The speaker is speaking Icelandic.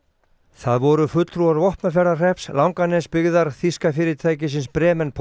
það voru fulltrúar Vopnafjarðarhrepps Langanesbyggðar þýska fyrirtækisins